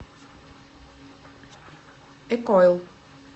экойл